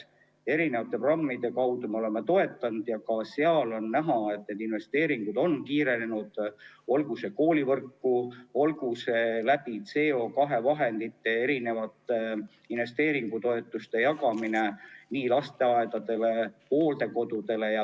Me oleme omavalitsusi mitmesuguste programmide kaudu toetanud ja ka seal on näha, et investeeringud on kiirenenud, olgu koolivõrku või olgu CO2 vahenditest investeeringutoetuste jagamine nii lasteaedadele kui ka hooldekodudele.